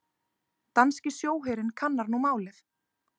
Danski sjóherinn kannar nú málið